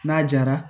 N'a jara